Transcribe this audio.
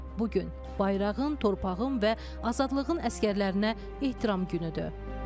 Bu gün bayrağın, torpağın və azadlığın əsgərlərinə ehtiram günüdür.